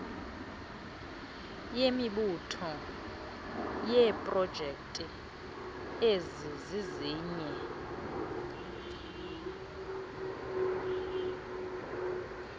yemibutho yeeprojekthi ezizizinye